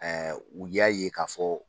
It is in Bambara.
u y'a ye k'a fɔ